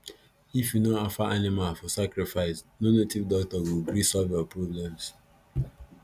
if u no offer animal for sacrifice no native doctor go gree solve your problems